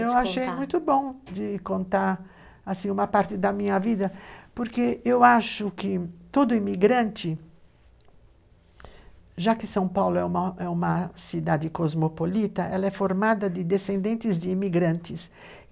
Eu achei muito bom de contar uma parte da minha vida, porque eu acho que todo imigrante, já que São Paulo é uma uma cidade cosmopolita, ela é formada de descendentes de imigrantes.